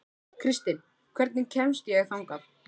Kristin, hvernig kemst ég þangað?